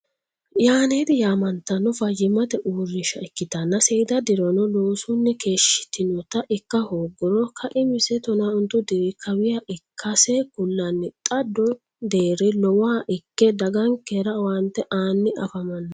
Yaneti yaamattano fayyimate uurrinsha ikkittanna seeda dirono loosunni keeshshitinotta ikka hooguro kaimise tona ontu diri kawiha ikkase kulanni xa do deerri lowoha ikke dagankera owaante aani afamano.